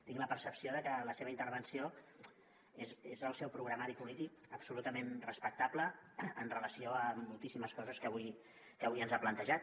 tinc la percepció de que la seva intervenció és el seu programari polític absolutament respectable amb relació a moltíssimes coses que avui ens ha plantejat